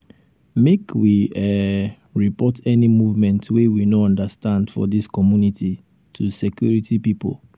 make we um report any movement wey we no understand for dis um community to um security pipo.